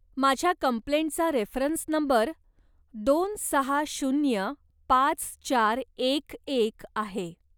माझ्या कम्प्लेंटचा reference number दोन सहा शून्य पाच चार एक एक आहे.